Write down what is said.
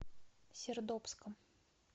сердобском